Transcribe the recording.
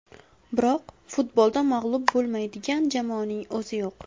Biroq, futbolda mag‘lub bo‘lmaydigan jamoaning o‘zi yo‘q.